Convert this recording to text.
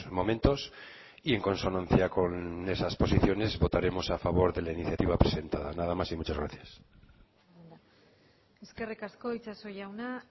momentos y en consonancia con esas posiciones votaremos a favor de la iniciativa presentada nada más y muchas gracias eskerrik asko itxaso jauna